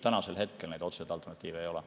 Tänasel hetkel otseseid alternatiive ei ole.